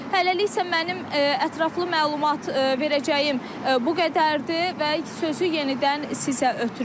Hələlik isə mənim ətraflı məlumat verəcəyim bu qədərdir və sözü yenidən sizə ötürürəm.